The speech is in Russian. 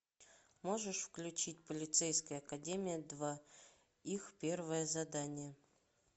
можешь включить полицейская академия два их первое задание